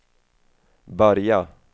börja